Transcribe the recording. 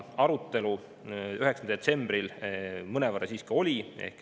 Arutelu 9. detsembril mõnevõrra siiski oli.